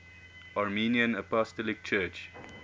armenian apostolic church